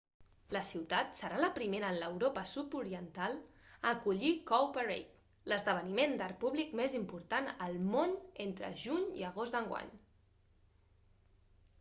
la ciutat serà la primera en l'europa sud-oriental a acollir cowparade l'esdeveniment d'art públic més important al món entre juny i agost d'enguany